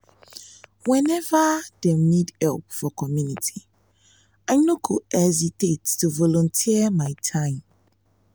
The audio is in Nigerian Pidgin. whenever dem need help for community i no go hesitate to volunteer my time.